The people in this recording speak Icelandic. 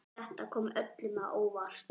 Þetta kom öllum á óvart.